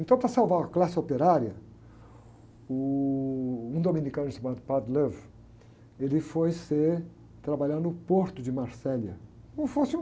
Então, para salvar a classe operária, uh, um dominicano chamado, ele foi trabalhar no porto de Marselha, como se fosse um...